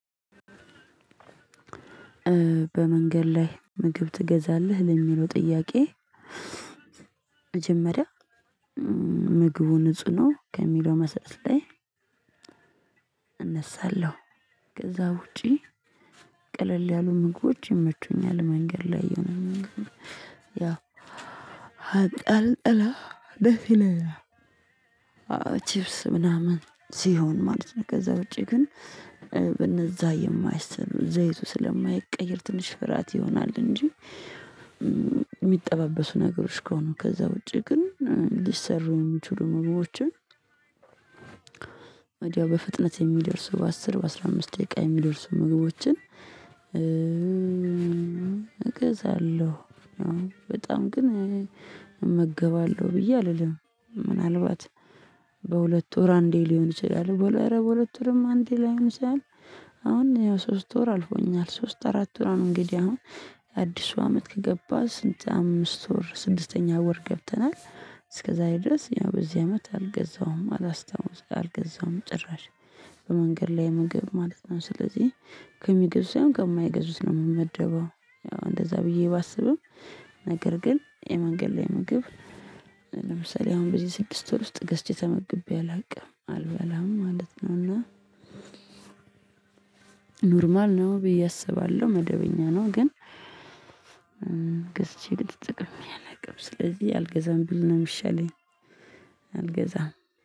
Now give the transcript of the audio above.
በመንገድ ላይ ምግብ ትገዛለህ ለሚለው ጥያቄ? መጀመሪያ ምግቡ ንጹህ ነው ከሚለው መሰጠት ላይ። እነሳለሁ። ከዛ ውጪ ቀለል ያሉ ምግቦች ይመቹኛል። መንገድ ላይ ይሆናል። ያው አቅል አላ ደስ ይለኛል። አዎ ቺፕስ ምናምን ሲሆን ማለት ነው። ከዛ ውጪ ግን በነዛ የማይሰራ ዘይቱ ስለማይቀየር ትንሽ ፍርሃት ይሆናል እንጂ። የሚጠባበሱ ነገሮች ከሆኑ ከዛ ውጪ ግን ሊሰሩ የሚችሉ ምግቦችን። ወዲያው በፍጥነት የሚደርሱ በአስር በአስራ አምስት ደቂቃ የሚደርሱ ምግቦችን። እገዛለሁ በጣም ግን እመገባለሁ ብዬ አልልም። ምናልባት በሁለት ወር አንዴ ሊሆን ይችላል ኧረ በሁለት ወርም አንዴ ላይሆን ይችላል። አሁን ያው ሶስት ወር አልፎኛል ሶስት አራት ወር ነው። እንግዲህ አሁን አዲሱ አመት ከገባ ስንት አምስት ወር ስድስተኛ ወር ገብተናል። እስከዛሬ ድረስ ያው በዚህ አመት አልገዛውም አላስታውስም አልገዛውም። ጭራሽ በመንገድ ላይ ምግብ ማለት ነው ስለዚህ ከሚገዙት ሳይሆን ከማይገዙት ነው የምመደበው። እንደዛ ብዬ ባስብም ነገር ግን የመንገድ ላይ ምግብ ለምሳሌ አሁን በዚህ ስድስት ወር ውስጥ ገዝቼ ተመግቤ አላውቅም አልበላም ማለት ነው። እና ኖርማል ነው ብዬ አስባለሁ መደበኛ ነው ግን። ገዝቼ ግን ተጠቅሜ አላቅም ስለዚህ አልገዛም ብል ነው የሚሻለኝ። አልገዛም